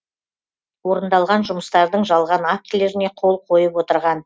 орындалған жұмыстардың жалған актілеріне қол қойып отырған